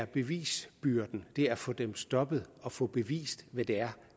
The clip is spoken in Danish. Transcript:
bevisbyrden det er at få dem stoppet og få bevist hvad det er